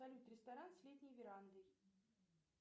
салют ресторан с летней верандой